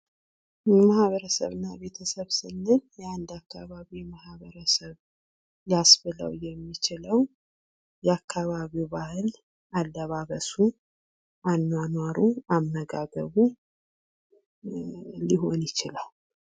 ማህበረሰብ እና ቤተሰብ ስንል የአንድ አካባቢ ማህበረሰብ ሊያስብለው የሚችለው የአካባቢው ባህል፣ አለባበሱ፣ አኗኗሩ፣ አመጋገቡ ሊሆን ይችላል።